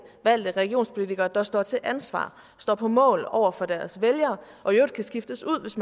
valgte regionspolitikere der står til ansvar og står på mål over for deres vælgere og i øvrigt kan skiftes ud hvis